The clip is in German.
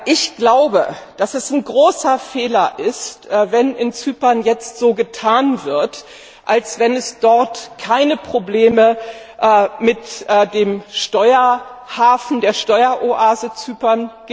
Ich glaube, dass es ein großer Fehler ist, wenn in Zypern jetzt so getan wird, als gäbe es dort keine Probleme mit dem Steuerhafen, der Steueroase Zypern.